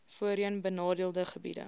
voorheen benadeelde gebiede